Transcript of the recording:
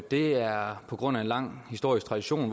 det er på grund af en lang historisk tradition